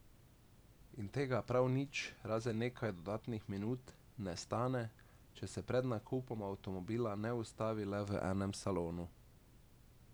In tega prav nič, razen nekaj dodatnih minut, ne stane, če se pred nakupom avtomobila ne ustavi le v enem salonu.